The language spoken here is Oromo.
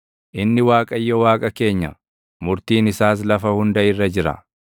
Inni Waaqayyo Waaqa keenya; murtiin isaas lafa hunda irra jira.